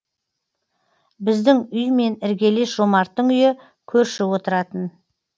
біздің үй мен іргелес жомарттың үйі көрші отыратын